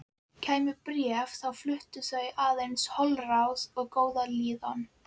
Lagið barst til þeirra með andsogum úr fiðlum.